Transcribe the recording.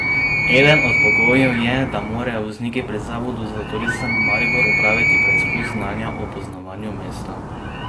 Eden od pogojev je, da morajo vozniki pri Zavodu za turizem Maribor opraviti preizkus znanja o poznavanju mesta.